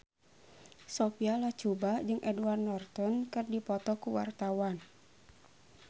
Sophia Latjuba jeung Edward Norton keur dipoto ku wartawan